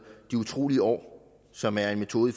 de utrolige år som er en metode i